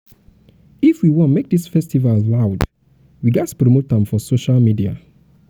if if we wan make dis festival loud we ghas promote am for social media.